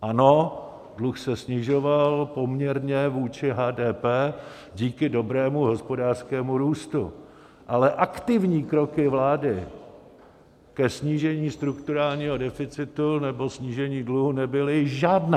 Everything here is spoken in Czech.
Ano, dluh se snižoval poměrně vůči HDP díky dobrému hospodářskému růstu, ale aktivní kroky vlády ke snížení strukturálního deficitu nebo snížení dluhu nebyly žádné.